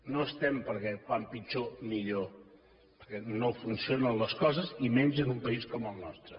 no estem perquè com pitjor millor perquè no funcionen les coses i menys en un país com el nostre